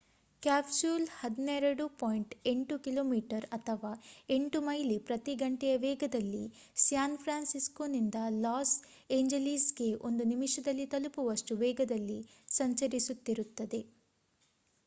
capsule 12.8 ಕಿಮಿ ಅಥವಾ 8 ಮೈಲಿ ಪ್ರತಿ ಗಂಟೆಯ ವೇಗದಲ್ಲಿ ಸ್ಯಾನ್ ಫ್ರಾನ್ಸಿಸ್ಕೊನಿಂದ ಲಾಸ್ ಎಂಜಲೀಸ್‌ಗೆ ಒಂದು ನಿಮಿಷದಲ್ಲಿ ತಲುಪುವಷ್ಟು ವೇಗದಲ್ಲಿ ಸಂಚರಿಸುತ್ತಿರುತ್ತದೆ